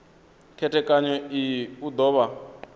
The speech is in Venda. khethekanyo iyi u do vha